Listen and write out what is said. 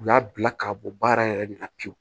U y'a bila ka bɔ baara yɛrɛ de la pewu